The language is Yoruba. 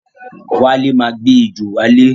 Wale máa gbé ejò wálé.